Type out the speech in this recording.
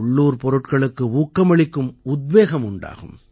உள்ளூர் பொருட்களுக்கு ஊக்கம் அளிக்கும் உத்வேகம் உண்டாகும்